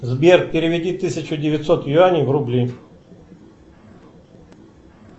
сбер переведи тысячу девятьсот юаней в рубли